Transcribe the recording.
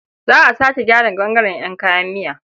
Za a sake gyara ɓangaren ƴan kayan miya.